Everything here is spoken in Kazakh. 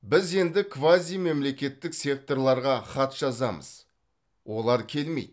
біз енді квазимемлекеттік секторларға хат жазамыз олар келмейді